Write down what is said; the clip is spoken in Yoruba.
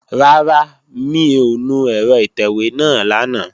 Rárá, mi ò nu ẹ̀rọ ìtẹ̀wé náà lánàá